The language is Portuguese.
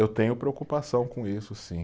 Eu tenho preocupação com isso, sim.